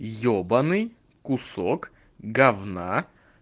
ебанный кусок говна